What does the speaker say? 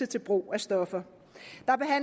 til brug af stoffer